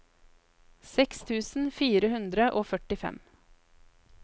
seks tusen fire hundre og førtifem